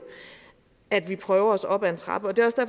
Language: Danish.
at vi prøver os frem op ad en trappe